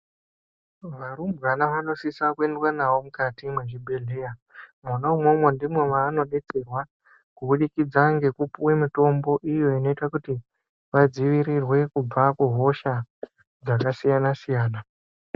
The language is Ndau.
Varumbwana vanosisa kuendwa navo mukati mwezvibhehleya mwona umwomwo ndimwo mwavanodetserwa kubudikidza ngekupuwa mutombo iyo inoita kuti vadzivirirwe kubva kuhosha iyo dzakasiyana siyana.